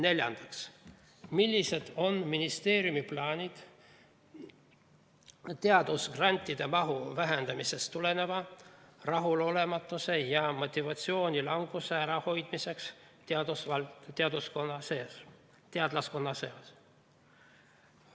Neljandaks, millised on ministeeriumi plaanid teadusgrantide mahu vähenemisest tuleneva rahulolematuse ja motivatsioonilanguse ärahoidmiseks teadlaskonna seas?